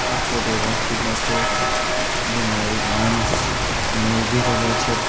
આ ફોટો વસ્જિદનો છે જેમાં એક માણસ અહીંયા ઊભી રેલો છે.